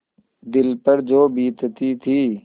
दिल पर जो बीतती थी